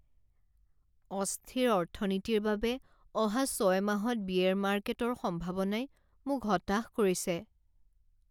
অস্থিৰ অৰ্থনীতিৰ বাবে অহা ছয় মাহত বিয়েৰ মাৰ্কেটৰ সম্ভাৱনাই মোক হতাশ কৰিছে।